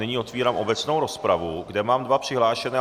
Nyní otevírám obecnou rozpravu, kde mám dva přihlášené.